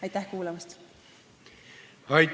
Aitäh kuulamast!